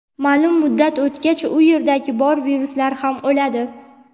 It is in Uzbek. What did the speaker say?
ma’lum muddat o‘tgach u yerdagi bor viruslar ham o‘ladi.